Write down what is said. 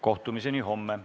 Kohtumiseni homme!